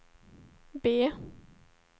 B